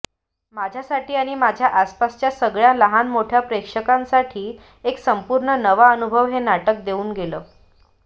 माझ्यासाठी आणि माझ्या आसपासच्या सगळ्या लहानमोठ्या प्रेक्षकांसाठी एक संपूर्ण नवा अनुभव हे नाटक देऊन गेलं